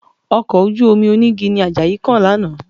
Ọkọ̀ ojú-omi onígi ni Àjàyí kàn lánàá